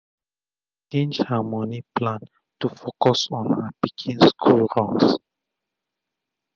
she change her moni plan to focus on her pikin school runs